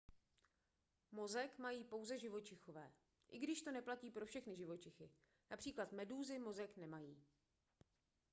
mozek mají pouze živočichové i když to neplatí pro všechny živočichy: například medúzy mozek nemají